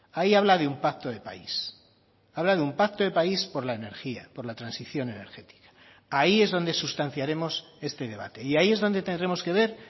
ahí habla de un pacto de país habla de un pacto de país por la energía por la transición energética ahí es donde sustanciaremos este debate y ahí es donde tendremos que ver